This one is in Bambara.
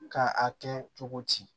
Ka a kɛ cogo di